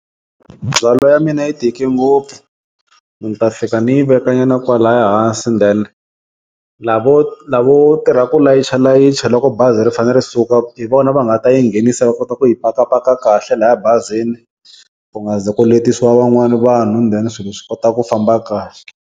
Ndzhwalo ya mina yi tike ngopfu ni ta fika ni yi veka nyana kwalaya hansi then lavo lavo tirha ku layichalayicha loko bazi ri fane ri suka hi vona va nga ta yi nghenisa va kota ku yi pakapaka kahle laya bazini, ku nga ze ku letisiwa van'wani vanhu then swilo swi kota ku famba kahle.